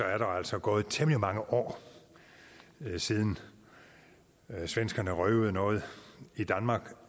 er der altså gået temmelig mange år siden svenskerne røvede noget i danmark